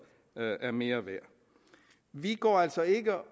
er mere værd vi går altså ikke